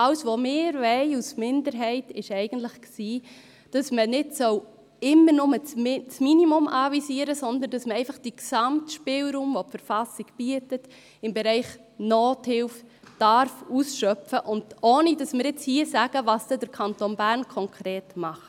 Alles, was wir als Minderheit wollen, ist, dass man nicht nur immer das Minimum anvisieren soll, sondern dass man den gesamten Spielraum, den die BV im Bereich Nothilfe bietet, ausschöpfen darf, ohne dass wir hier sagen, was dann der Kanton Bern konkret macht.